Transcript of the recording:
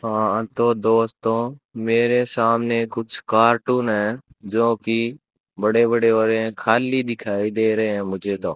हां तो दोस्तों मेरे सामने कुछ कार्टून है जो कि बड़े बड़े हो रहे है खाली दिखाई दे रहे हैं मुझे तो।